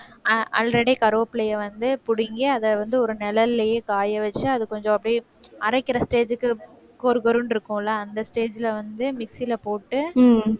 அது